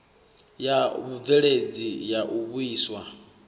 ya vhubveledzi ya u vhuiswa